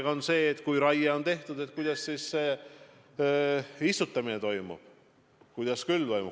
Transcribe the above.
See on see, et kui raie on tehtud, siis kuidas toimub istutamine, kuidas toimub külv.